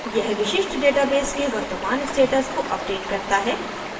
यह विशिष्ट database के वर्तमान status को अपडेट करता है